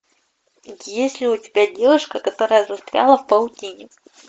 есть ли у тебя девушка которая застряла в паутине